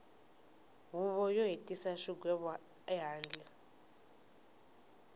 huvo yo hetisa xigwevo ehandle